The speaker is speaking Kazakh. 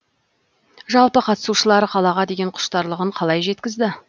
жалпы қатысушылар қалаға деген құштарлығын қалай жеткізді